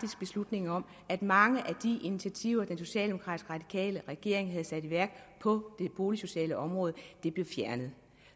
beslutning om at mange af de initiativer den socialdemokratisk radikale regering havde sat i værk på det boligsociale område blev fjernet